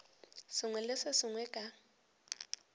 sengwe le se sengwe ka